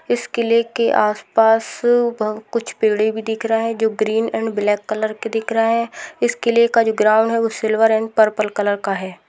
इस क़िले के आस पास कुछ पेड़े भी दिख रही है जो ग्रीन एंड ब्लैक दिख रहे हैं इस किले का जो ग्राउंड है सिल्वर एंड परपल कलर का है।